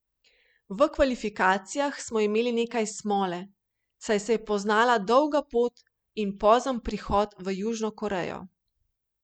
V kvalifikacijah smo imeli nekaj smole, saj se je poznala dolga pot in pozen prihod v Južno Korejo.